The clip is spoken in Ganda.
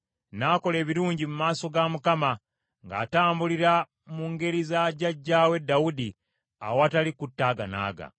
N’akola ebirungi mu maaso ga Mukama , ng’atambulira mu ngeri za jjajjaawe Dawudi, awatali kutaaganaaga.